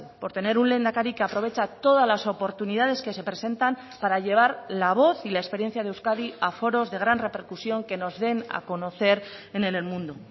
por tener un lehendakari que aprovecha todas las oportunidades que se presentan para llevar la voz y la experiencia de euskadi a foros de gran repercusión que nos den a conocer en el mundo